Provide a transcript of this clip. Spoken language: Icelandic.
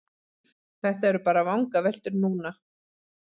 Þetta eru bara vangaveltur núna.